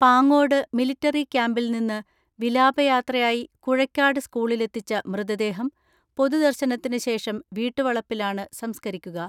Pangode military ക്യാമ്പിൽ നിന്ന് വിലാപയാത്രയായി കുഴയ്ക്കാട് സ്കൂളിലെത്തിച്ച മൃത ദേഹം പൊതുദർശനത്തിനു ശേഷം വീട്ടുവളപ്പിലാണ് സംസ്ക രിക്കുക.